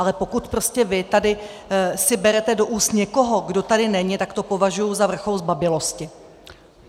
Ale pokud prostě vy tady si berete do úst někoho, kdo tady není, tak to považuji za vrchol zbabělosti!